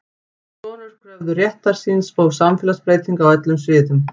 Konur kröfðust réttar síns og samfélagsbreytinga á öllum sviðum.